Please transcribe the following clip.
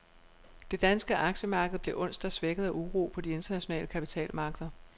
Det danske aktiemarked blev onsdag svækket af uro på de internationale kapitalmarkeder.